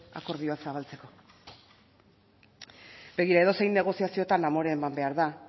akordioa zabaltzeko begira edozein negoziaziotan amore eman behar da